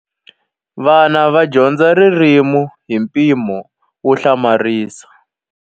Vana va dyondza ririmi hi mpimo wo hlamarisa.